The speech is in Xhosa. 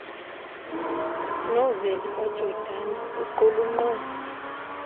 noveli kajordan iqulunqwe